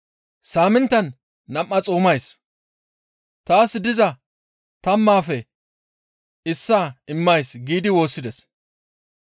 Saaminttan nam7aa xoomays; taas diza tammaafe issaa immays› giidi woossides.